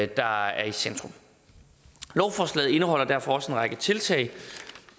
der er i centrum lovforslaget indeholder derfor også en række tiltag